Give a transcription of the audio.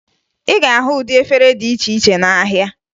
Ị ga-ahụ ụdị efere dị iche iche n'ahịa